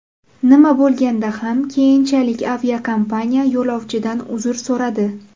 Nima bo‘lganda ham, keyinchalik aviakompaniya yo‘lovchidan uzr so‘radi.